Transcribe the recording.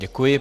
Děkuji.